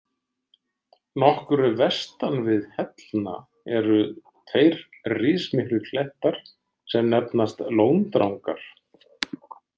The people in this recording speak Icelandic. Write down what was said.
Nokkru vestan við Hellna eru tveir rismiklir klettar sem nefnast Lóndrangar.